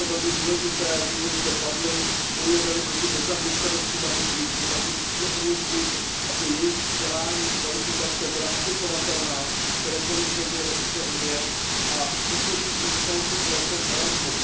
Je to velmi důležité, důvody zde padly. Bojujeme li proti nezaměstnanosti mladých lidí, pak jim musíme umožnit, aby jejich vzdělání, jejich kvalifikace byla aplikovatelná v kterékoliv zemi EU, a to souvisí se samotným projektem Erasmus.